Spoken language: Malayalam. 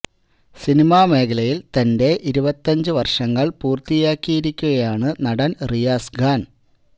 സിനിമാ മേഖലയില് തന്റെ ഇരുപത്തിയഞ്ചു വര്ഷങ്ങള് പൂര്ത്തിയക്കിയിരിക്കുകയാണ് നടന് റിയാസ് ഖാന്